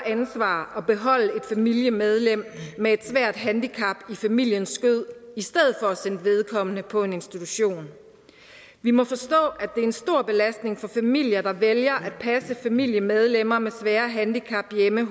ansvar at beholde et familiemedlem med et svært handicap i familiens skød i stedet for at sende vedkommende på en institution vi må forstå at er en stor belastning for familier der vælger at passe familiemedlemmer med svære handicap hjemme